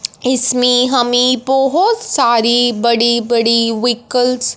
इसमें हमें बहोत सारी बड़ी बड़ी विक्कल्स --